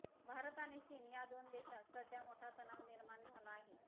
भारत आणि चीन या दोन देशात सध्या मोठा तणाव निर्माण झाला आहे